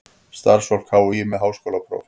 Starfsfólk HÍ með háskólapróf.